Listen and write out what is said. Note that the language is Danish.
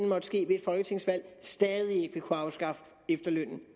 måtte ske ved et folketingsvalg stadig væk ikke vil kunne afskaffe efterlønnen